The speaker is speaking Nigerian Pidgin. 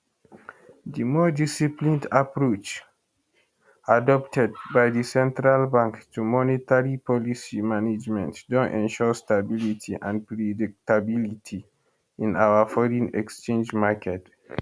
di more disciplined approach adopted by di central bank to monetary policy management don ensure stability and predictability in our foreign exchange market